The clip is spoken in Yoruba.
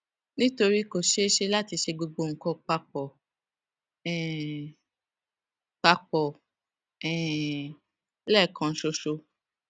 nítorí pé kò ṣeé ṣe láti ṣe gbogbo nǹkan pa pọ um pa pọ um lẹẹkan ṣoṣo